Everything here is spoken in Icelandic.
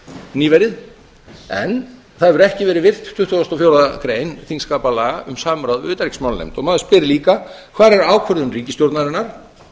nýverið en það hefur ekki verið virt tuttugasta og fjórða grein þingskapalaga um samráð við utanríkismálanefnd maður spyr líka hvar er ákvörðun ríkisstjórnarinnar